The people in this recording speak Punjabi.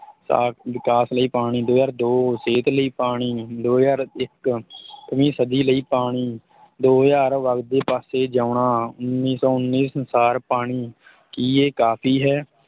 ਸਾ ਵਿਕਾਸ ਲਈ ਪਾਣੀ, ਦੋ ਹਜ਼ਾਰ ਦੋ ਸਿਹਤ ਲਈ ਪਾਣੀ, ਦੋ ਹਜ਼ਾਰ ਇੱਕ ਵੀਂ ਸਦੀ ਲਈ ਪਾਣੀ ਦੋ ਹਜ਼ਾਰ ਵਗਦੇ ਪਾਸੇ ਜਿਉਂਣਾ, ਉੱਨੀ ਸੌ ਉੱਨੀ ਸੰਸਾਰ ਪਾਣੀ ਕੀ ਇਹ ਕਾਫੀ ਹੈ?